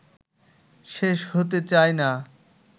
শেষ হতে চায় না